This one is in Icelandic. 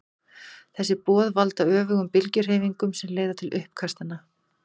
Þessi boð valda öfugum bylgjuhreyfingunum sem leiða til uppkastanna.